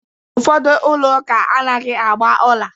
Ụfọdụ ụlọ ụka anaghị agba ọla